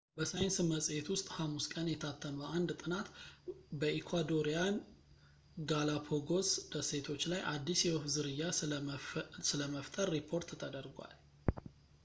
በሳይንስ መጽሔት ውስጥ ሐሙስ ቀን የታተመ አንድ ጥናት በኢኳዶሪያን ጋላፓጎስ ደሴቶች ላይ አዲስ የወፍ ዝርያ ስለመፍጠር ሪፖርት ተደርጓል